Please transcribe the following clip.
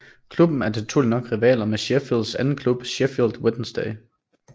Klubben er naturligt nok rivaler med Sheffields anden klub Sheffield Wednesday